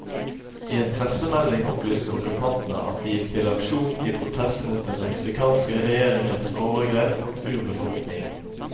I en pressemelding opplyste okkupantene at de gikk til aksjon i protest mot den mexicanske regjeringens overgrep mot urbefolkningen.